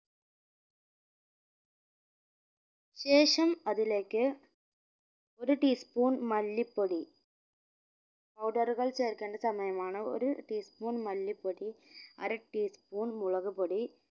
ശേഷം അതിലേക്ക് ഒരു tea spoon മല്ലിപ്പൊടി powder കൾ ചേർക്കേണ്ട സമയമാണ് ഒരു tea spoon മല്ലിപ്പൊടി അര teaspoon മുളക്പൊടി